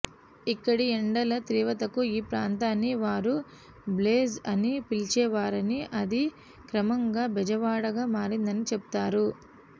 ఇక్కడి ఎండల తీవ్రతకు ఈ ప్రాంతాన్ని వారు బ్లేజ్ అని పిలిచేవారని అది క్రమంగా బెజవాడగా మారిందని చెబుతారు